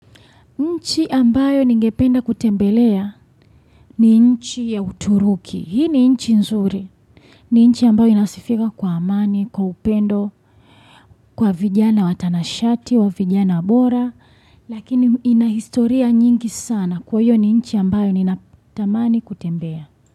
Nchi ambayo ningependa kutembelea ni nchi ya uturuki, hii ni nchi nzuri, ni nchi ambayo inasifika kwa amani, kwa upendo, kwa vijana watanashati, wa vijana bora, lakini inahistoria nyingi sana kwa hiyo ni nchi ambayo ninatamani kutembea.